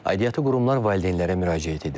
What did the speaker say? Aidiyyatı qurumlar valideynlərə müraciət edir.